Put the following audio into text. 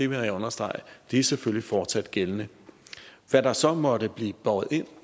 vil jeg understrege er selvfølgelig fortsat gældende hvad der så måtte blive båret ind